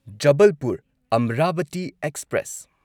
Jabalpur Amravati express